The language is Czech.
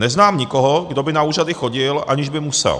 Neznám nikoho, kdo by na úřady chodil, aniž by musel.